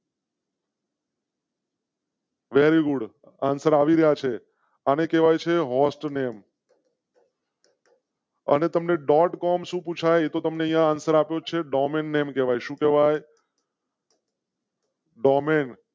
Very good answer આવ્યા છે. આને કેવાય છે હોસ્ટનેમ. અને તમ ને. કોમ શું પૂછાય એ તો તમ ને આન્સર આપે છે. Domain name. ડોમેન